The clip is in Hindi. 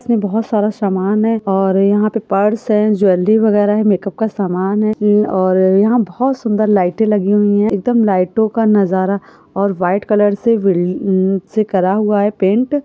बहुत सारा सामान है और यहाँ पे पर्स है ज्वेलरी वगैरह है मेकअप का सामान है और अ यहाँ बहुत सुंदर लाइटें लगी हुई है एकदम लाइटों का नजारा और व्हाइट कलर से बिन अ सेकरा हुआ है पेंट --